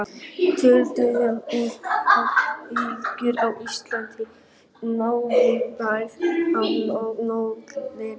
Truflanir urðu á flugi á Íslandi, Bretlandseyjum og í Noregi.